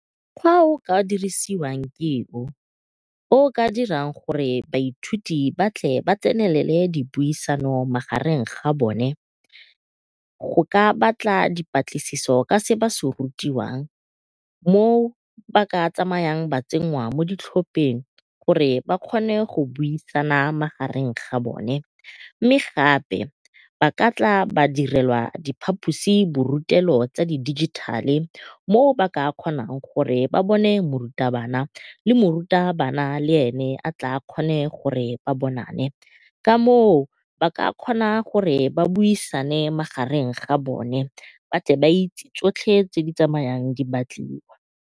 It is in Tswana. Mokgwa o o ka dirisiwang ke o, o o ka dirang gore baithuti ba tle ba tsenelele dipuisano magareng ga bone go ka batla dipatlisiso ka se ba se rutiwang moo ba ka tsamayang ba tsenngwa mo ditlhopeng gore ba kgone go buisana magareng ga bone. Mme gape ba ka tla ba direlwa diphaposi borutelo tsa di dijithale mo ba ka kgonang gore ba bone morutabana le morutabana le e ne a tle a kgone gore ba bonane. Ka moo ba ka kgona gore ba buisane magareng ga bone ba tle ba itse tsotlhe tse di tsamayang di batliwa.